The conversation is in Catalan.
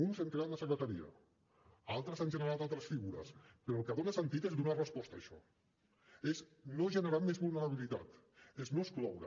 uns hem creat la secretaria altres han generat altres figures però el que dona sentit és donar resposta a això és no generar més vulnerabilitat és no excloure